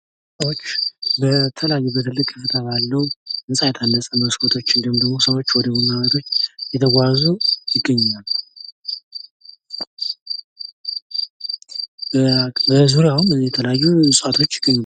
ሰዎች በተለያዩ በትልቅ ህንጻ ባሉ፣ ህንጻ ቤት አለ፣ መስኮቶችን እንዲሁም ደሞ ሰዎች ወደቡና ቤቱ እየተጉዋዙ ይገኛሉ። በዙሪያዉም የተለያዩ እጽዋቶች ይገኛሉ።